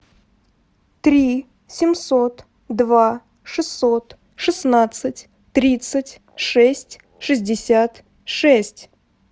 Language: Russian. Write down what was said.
три семьсот два шестьсот шестнадцать тридцать шесть шестьдесят шесть